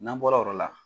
N'an bɔra o yɔrɔ la